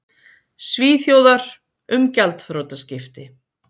Svíþjóðar, um gjaldþrotaskipti.